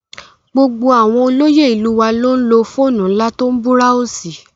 Gbogbo àwọn olóyè ìlú wa ló ń lo fóònù ńlá tó ń búráósì